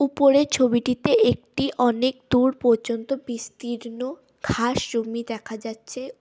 ওপরের ছবিটিতে একটি অনেক দূর পর্যন্ত বিস্তীর্ন ঘাস জমি দেখা যাচ্ছে।